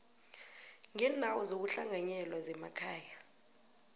ngeendawo zokuhlanganyela zemakhaya